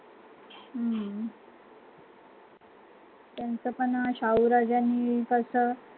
हम्म त्यांचा पण शाहू राजांनी कसं